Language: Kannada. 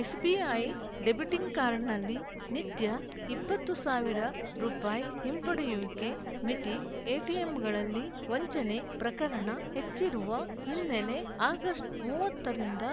ಎಸ್‌ಬಿಐ ಡೆಬಿಟಿಂಗ್ ಕಾರ್ಡ್‌ನಲ್ಲಿ ನಿತ್ಯ ಇಪ್ಪತ್ತ್ ಸಾವಿರ ರುಪಾಯಿ ಹಿಂಪಡೆಯುವಿಕೆ ಮಿತಿ ಎಟಿಎಂಗಳಲ್ಲಿ ವಂಚನೆ ಪ್ರಕರಣ ಹೆಚ್ಚಿರುವ ಹಿನ್ನೆಲೆ ಆಗಸ್ಟ್ ಮೂವತ್ತ ರಿಂದ